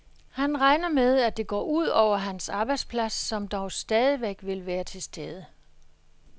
Han regner med, at det går ud over hans arbejdsplads, som dog stadigvæk vil være til stede.